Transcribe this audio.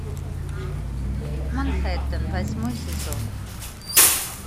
манхэттен восьмой сезон